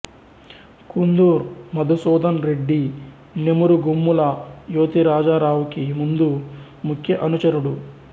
కుందూర్ మదుసూదన్ రెడ్డి నెమురుగోమ్ముల యెతిరాజారావుకి ముందు ముఖ్య అనుచరుడు